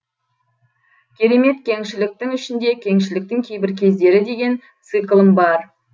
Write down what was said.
керемет кеңшіліктің ішінде кеңшіліктің кейбір кездері деген циклым бар